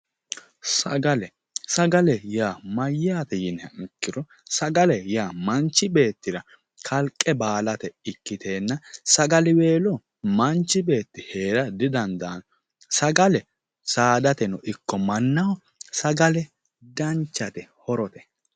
sagale, sagale yaa mayyaate yiniha ikkiro sagale yaa manchi beettira kalqe baalate ikkiteenna sagaliweelo manchi beetti heera didandaanno, sagale saadateno ikko mannahono sagale danchate horote